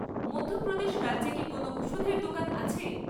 মধ্যপ্রদেশ রাজ্যে কি কোনও ওষুধের দোকান আছে?